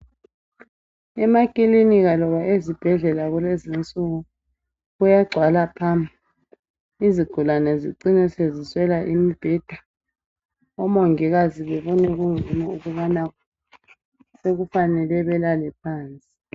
Emakilinika loba ezibhedlela kulezinsuku kuyagcwala phamu. Izigulane zicine seziswela imibheda omongikazi bebone kungcono ukubana sekufanele belale phansi.